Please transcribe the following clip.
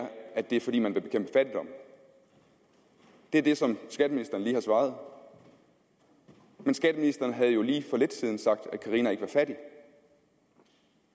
at det er fordi man vil bekæmpe fattigdom det er det som skatteministeren lige har svaret men skatteministeren har jo lige for lidt siden sagt at carina ikke er fattig